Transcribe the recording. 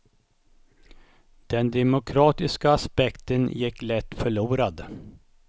Den demokratiska aspekten gick lätt förlorad.